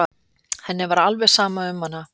Henni var alveg sama um hana.